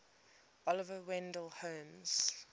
oliver wendell holmes